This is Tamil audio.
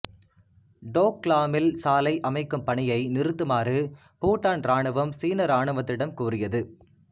டோக்லாமில் சாலை அமைக்கும் பணியை நிறுத்துமாறு பூடான் இராணுவம் சீன இராணுவத்திடம் கூறியது